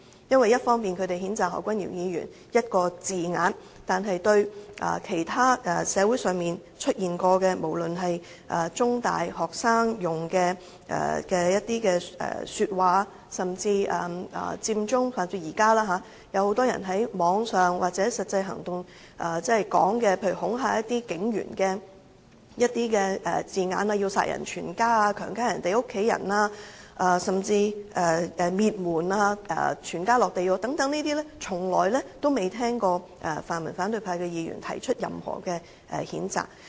他們一方面譴責何君堯議員所用的某一字眼，但對於其他曾在社會上出現的過火言論，無論是中大學生的一些說話，甚至由佔中至現在，很多人在網上或實際行動時說出的一些恐嚇警務人員的字眼，例如要"殺人全家"、"強姦他人的家人"，甚至"滅門"、"全家落地獄"等，卻都未聽見泛民反對派議員曾提出任何譴責。